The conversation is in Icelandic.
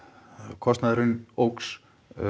kostnaðurinn óx